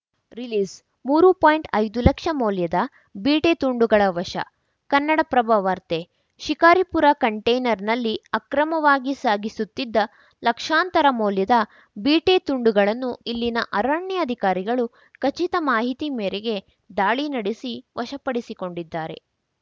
ರಿಲೀಸ್‌ಮೂರು ಪಾಯಿಂಟ್ಐದುಲಕ್ಷ ಮೌಲ್ಯದ ಬೀಟೆ ತುಂಡುಗಳ ವಶ ಕನ್ನಡಪ್ರಭವಾರ್ತೆ ಶಿಕಾರಿಪುರ ಕಂಟೇನರ್‌ನಲ್ಲಿ ಅಕ್ರಮವಾಗಿ ಸಾಗಿಸುತ್ತಿದ್ದ ಲಕ್ಷಾಂತರ ಮೌಲ್ಯದ ಬೀಟೆ ತುಂಡುಗಳನ್ನು ಇಲ್ಲಿನ ಅರಣ್ಯಾಧಿಕಾರಿಗಳು ಖಚಿತ ಮಾಹಿತಿ ಮೇರೆಗೆ ದಾಳಿ ನಡೆಸಿ ವಶಪಡಿಸಿಕೊಂಡಿದ್ದಾರೆ